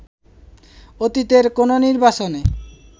অতীতের কোনো নির্বাচনে